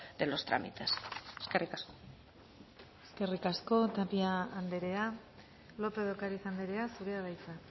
de los trámites eskerrik asko eskerrik asko tapia andrea lópez de ocariz andrea zurea da hitza